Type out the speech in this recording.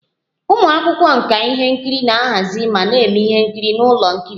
Ụmụ akwụkwọ nka ihe nkiri na-ahazi ma na-eme ihe nkiri n'ụlọ ihe nkiri